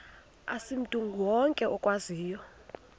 asimntu wonke okwaziyo